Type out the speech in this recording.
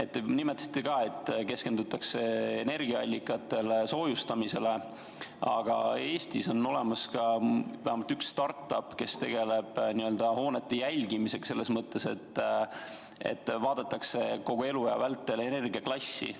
Te nimetasite, et keskendutakse energiaallikatele ja soojustamisele, aga Eestis on olemas vähemalt üks start-up, kes tegeleb n-ö hoonete jälgimisega, vaadatakse hoone kogu eluea vältel selle energiaklassi.